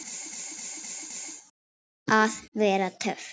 Að vera töff.